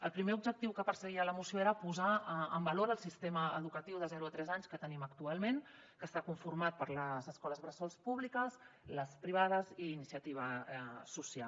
el primer objectiu que perseguia la moció era posar en valor el sistema educatiu de zero a tres anys que tenim actualment que està conformat per les escoles bressol públiques les privades i les d’iniciativa social